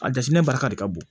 A jateminɛ barika de ka bon